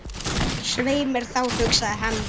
Svei mér þá, hugsaði hann.